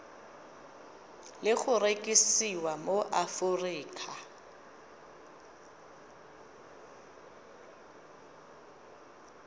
le go rekisiwa mo aforika